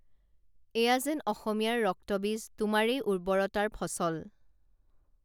এয়া যেন অসমীয়াৰ ৰক্তবীজ তোমাৰেই উৰ্ব্বৰতাৰ ফচল